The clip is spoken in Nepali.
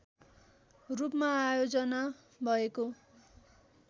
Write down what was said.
रूपमा आयोजना भएको